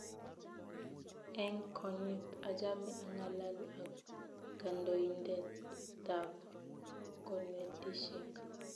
Eng konyiit achame angalal ako kandoindet tab konetishek